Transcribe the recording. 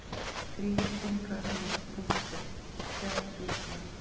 Þríhyrningar með punkti: fjalljöklar.